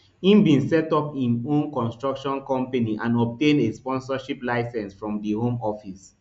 im bin set up im own construction company and obtain a sponsorship licence from di home office